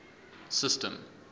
system